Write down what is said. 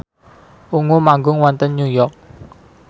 Ungu manggung wonten New York